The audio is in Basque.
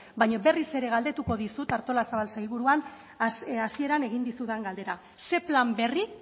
baina berriz ere galdetuko dizut artolazabal sailburua hasieran egin dizudan galdera ze plan berri